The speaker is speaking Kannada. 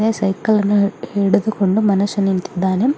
ಇಲ್ಲಿ ಸೈಕಲ್ ಅನ್ನು ಹಿಡಿದುಕೊಂಡು ಮನುಷ್ಯ ನಿಂತಿದ್ದಾನೆ.